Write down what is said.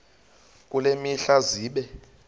kule mihla zibe